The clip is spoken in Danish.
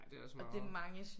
Ja det er også meget